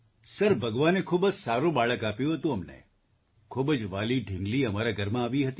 sir ભગવાને ખૂબ જ સારું બાળક આપ્યું હતું અમને ખૂબ જ વ્હાલી ઢીંગલી અમારા ઘરમાં આવી હતી